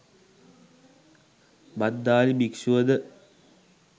භද්දාලි භික්‍ෂුව ද